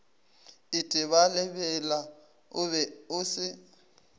itebalebela o be o se